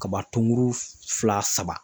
Kaba tonguru fila saba